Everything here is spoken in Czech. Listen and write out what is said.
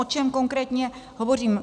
O čem konkrétně hovořím.